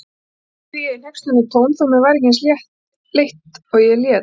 spurði ég í hneykslunartón þó mér væri ekki eins leitt og ég lét.